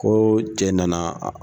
Ko cɛ nana